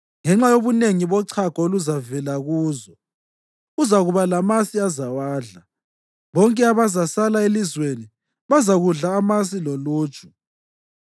Ngenxa yobunengi bochago oluzavela kuzo, uzakuba lamasi azawadla. Bonke abazasala elizweni bazakudla amasi loluju.